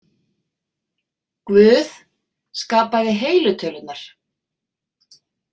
„Guð skapaði heilu tölurnar.